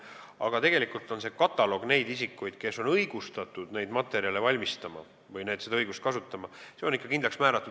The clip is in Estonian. Aga nende isikute kataloog, kes on õigustatud neid materjale valmistama või seda õigust kasutama, on kindlaks määratud.